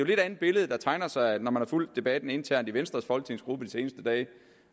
lidt andet billede der tegner sig når man har fulgt debatten internt i venstres folketingsgruppe de seneste dage